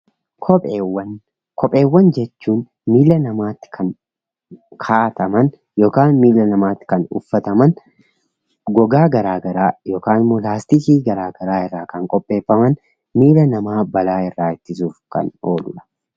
Kopheewwan miilla namaatti kan ka'ataman yookaan miilla namaatti kan uffataman gogaa garagaraa yookaan laastikii garagaraa irraa kan qopheeffaman miilla namaa balaa irraa ittisuudhaaf kan oolanidha.